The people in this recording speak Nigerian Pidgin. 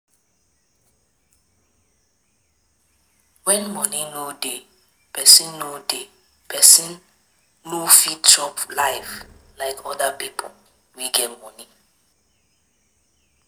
When money no dey, person no dey, person no go fit chop life like oda pipo wey get money